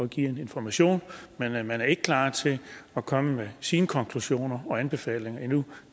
give en information men at man ikke er klar til at komme med sine konklusioner og anbefalinger endnu